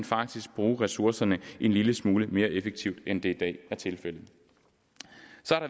faktisk bruge ressourcerne en lille smule mere effektivt end det i dag er tilfældet